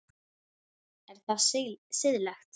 Er það siðlegt?